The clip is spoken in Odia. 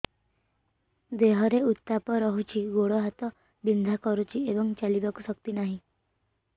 ଦେହରେ ଉତାପ ରହୁଛି ଗୋଡ଼ ହାତ ବିନ୍ଧା କରୁଛି ଏବଂ ଚାଲିବାକୁ ଶକ୍ତି ନାହିଁ